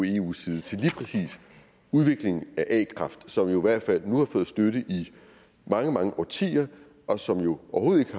eus side til lige præcis udvikling af a kraft som jo i hvert fald nu har fået støtte i mange mange årtier og som jo overhovedet